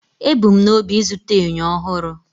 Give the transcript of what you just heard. Ebu m n'obi ịzụta enyo ọhụrụ